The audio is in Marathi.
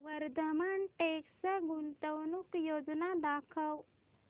वर्धमान टेक्स्ट गुंतवणूक योजना दाखव